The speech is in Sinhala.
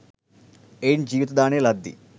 එයින් ජීවිත දානය ලද්දී